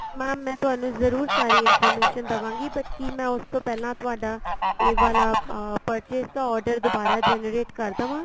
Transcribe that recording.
mam ਮੈਂ ਤੁਹਾਨੂੰ ਜਰੂਰ ਸਾਰੀ information ਦੇਵਾਗੀ but ਕੀ ਮੈਂ ਉਸ ਤੋਂ ਪਹਿਲਾਂ ਤੁਹਾਡਾ ਇਹ ਵਾਲਾ purchase ਦਾ order ਦੁਬਾਰਾ generate ਕਰ ਦੇਵਾ